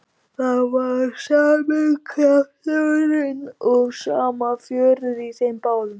Það var sami krafturinn og sama fjörið í þeim báðum.